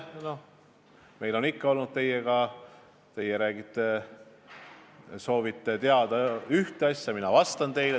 Noh, meil on ikka olnud teiega nii, et teie nagu soovite teada ühte asja ja mina vastan teile.